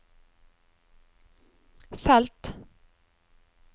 felt